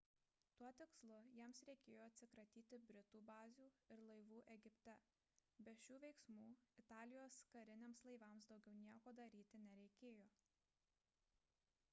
tuo tikslu jiems reikėjo atsikratyti britų bazių ir laivų egipte be šių veiksmų italijos kariniams laivams daugiau nieko daryti nereikėjo